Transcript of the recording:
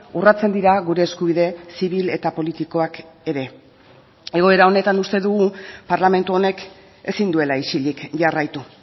urratzen dira gure eskubide zibil eta politikoak ere egoera honetan uste dugu parlamentu honek ezin duela isilik jarraitu